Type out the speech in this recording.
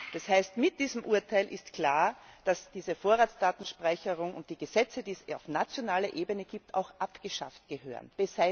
Das heißt, mit diesem Urteil ist klar, dass diese Vorratsdatenspeicherung und die Gesetze, die es auf nationaler Ebene gibt, auch abgeschafft gehören.